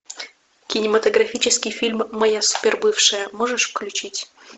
кинематографический фильм моя супер бывшая можешь включить